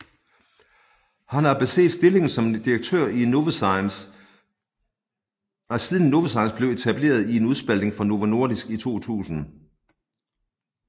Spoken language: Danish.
Han har besiddet stillingen som direktør siden Novozymes blev etableret i en udspaltning fra Novo Nordisk i 2000